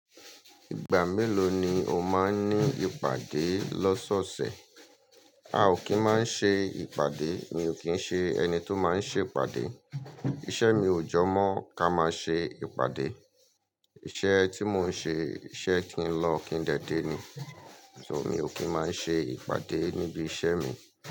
Ìgbà mélòó ni o máa ń ní ìpàdé lọ́sọ̀ọ̀sẹ̀? A ò kí ń máa ṣe ìpàdé, mi ò kí ń ṣe ẹni tó máa ń ṣe ìpàdé. Iṣẹ́ mi ò jọ mọ́ ká máa ṣe ìpàdé. Iṣẹ́ tí mo ń ṣe, iṣẹ́ kí ń lọ kí ń dé dé ni. So mi ò kí ń máa ṣe ìpàdé níbi iṣẹ́ mi.